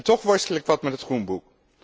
Toch worstel ik wat met het groenboek.